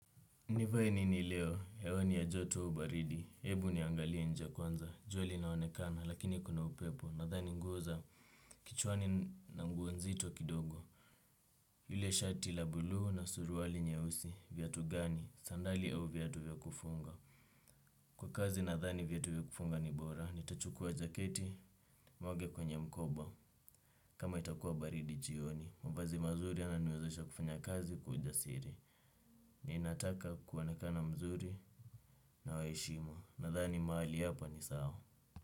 Nivae nini leo, hewa ni ya joto au baridi, hebu niangalie nje kwanza, jua linaonekana, lakini kuna upepo, nadhani nguo, kichwani na nguo nzito kidogo. Yule shati la blue na suruali nyeusi, vyatu gani, sandali au viatu vya kufunga. Kwa kazi nadhani vyatu vya kufunga ni bora, nitachukua jaketi, niweke kwenye mkoba. Kama itakua baridi jioni, mavazi mazuri yananiwezesha kufanya kazi kwa ujasiri. Ni nataka kuonekana mzuri na wa heshima. Nadhani mahali hapa ni sawa.